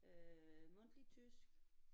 Øh mundtlig tysk